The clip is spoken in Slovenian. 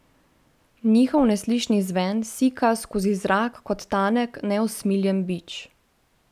Njihov neslišni zven sika skozi zrak kot tanek, neusmiljen bič.